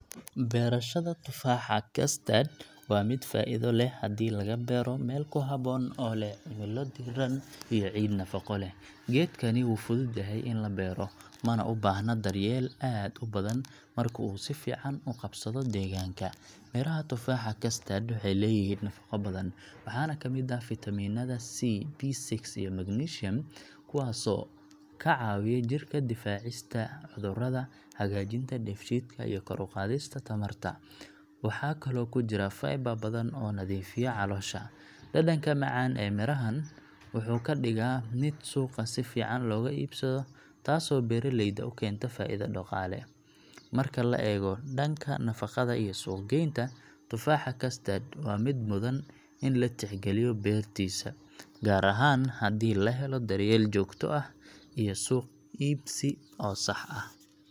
Beerashada tufaaxa custard waa mid faa’iido leh haddii laga beero meel ku habboon oo leh cimilo diiran iyo ciid nafaqo leh. Geedkani wuu fudud yahay in la beero, mana u baahna daryeel aad u badan marka uu si fiican u qabsado deegaanka. Miraha tufaaxa custard waxay leeyihiin nafaqo badan, waxaana ka mid ah fitamiinada C, B6, iyo magnesium, kuwaasoo ka caawiya jirka difaacista cudurrada, hagaajinta dheef-shiidka, iyo kor u qaadista tamarta. Waxaa kaloo ku jira fiber badan oo nadiifiya caloosha. Dhadhanka macaan ee mirahan wuxuu ka dhigaa mid suuqa si fiican looga iibsado, taasoo beeraleyda u keenta faa’iido dhaqaale. Marka la eego dhanka nafaqada iyo suuq-geynta, tufaaxa custard waa mid mudan in la tixgeliyo beertiisa, gaar ahaan haddii la helo daryeel joogto ah iyo suuq iibsi oo sax ah.